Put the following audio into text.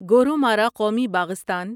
گورومارا قومی باغستان